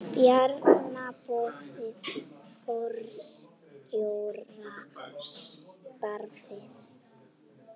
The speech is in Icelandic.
Bjarna boðið forstjórastarfið